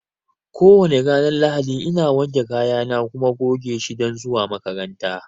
ko wane ranar Lahadi ina wanke kayana na kuma goge shi don zuwa makaranta